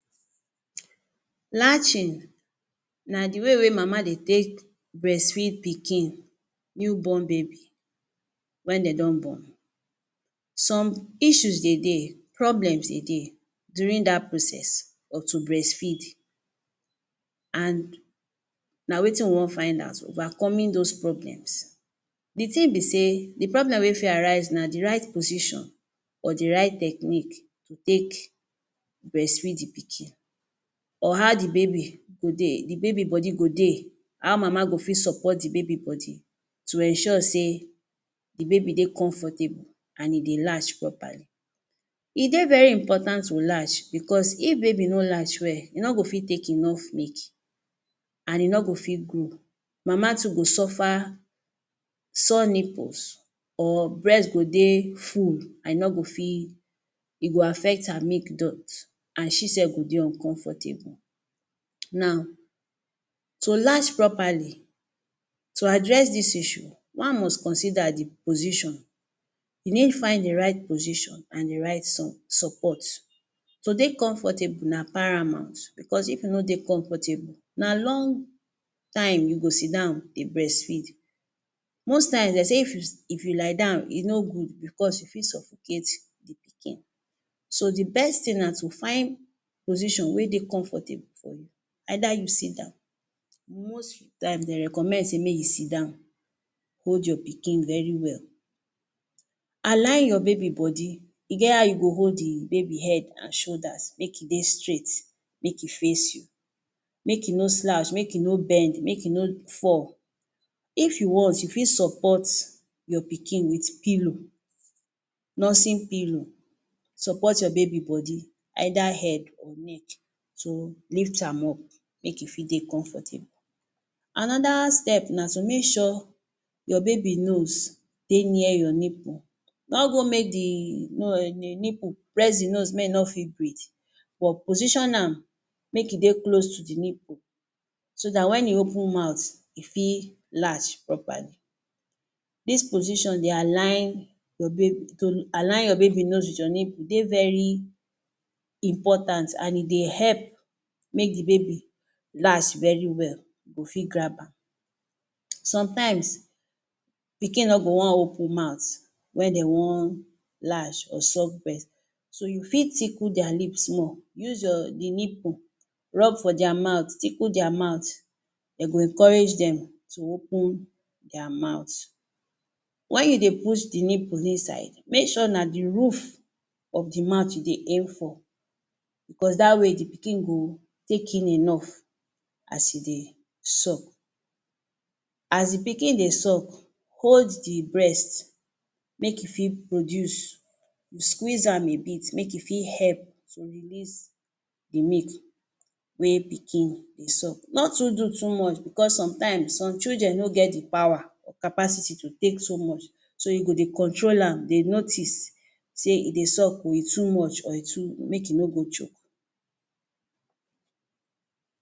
Latching na the way wey mama dey take breastfeed pikin, newborn baby, when de don born. Some issues they dey, problems they dey during dat process of to breastfeed. And na wetin we wan find out, overcome those problems. The thing be sey, the problem wey fit arise na the right position or the right technique to take breastfeed the pikin. Or how the baby go dey, the baby go dey. How mama go fit support the baby body to ensure sey the baby dey comfortable and e dey latch properly. E dey very important to latch because if baby no latch well, e no go fit take enough milk and e no go fit grow. Mama too go suffer sore nipples or breast go dey full and e no go fit, e go affect her milk dot and she self go dey uncomfortable. Now, to latch properly, to address dis issue, one must consider the position. You need find the right position and the right sun support. To dey comfortable na paramount because if you no dey comfortable, na long time you go sit down dey breastfeed. Most times de say if you If you lie down, e no good because you fit suffocate the pikin. So, the best thing na to find position wey dey comfortable for you. Either you sit down. Most time de recommend sey may you sit down, hold your pikin very well. Align your baby body, e get how you go hold the baby head and shoulders, make e dey straight, make e face you, make e no slouch, make e no bend, make e no fall. If you want, you fit support your pikin with pillow, nursing pillow, support your baby body, either head or neck to lift am up, make e fit dey comfortable. Another step na to make sure your baby nose dey near your nipple. No go make the um nipple press the nose may e no fit breath but position am make e dey close to the nipple so dat when e open mouth, e fit large properly. Dis position dey align your to align your baby nose with your nipple dey very important and e dey help make the baby last very well, go fit grab am. Sometimes, pikin no go wan open mouth when de wan lash or suck breast. So you fit tickle their lips more. Use your, the nipple, rub for their mouth, tickle their mouth. De go encourage dem to open their mouth. When you dey push the nipple inside, make sure na the roof of the mouth you dey aim for, because dat way the pikin go take in enough as e dey suck. As the pikin dey suck, hold the breast, make e fit produce. You squeeze am a bit, make e fit help to release the milk wey pikin dey suck. No too do too much because sometimes some children no get the power or capacity to take so much. So you go dey control am, dey notice sey e dey suck oh. E too much or e too make e no go choke.